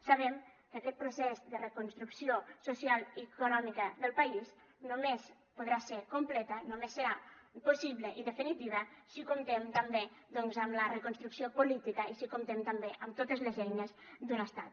sabem que aquest procés de reconstrucció social i econòmica del país només podrà ser complet només serà possible i definitiu si comptem també doncs amb la reconstrucció política i si comptem també amb totes les eines d’un estat